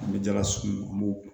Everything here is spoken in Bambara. An bɛ jala sugu an b'o